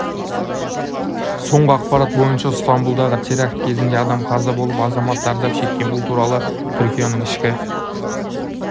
соңғы ақпарат бойынша стамбұлдағы теракт кезінде адам қаза болып азамат зардап шеккен бұл туралы түркияның ішкі